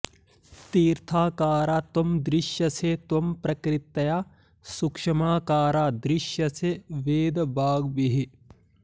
तीर्थाकारा त्वं दृश्यसे त्वं प्रकृत्या सूक्ष्माकारा दृश्यसे वेदवाग्भिः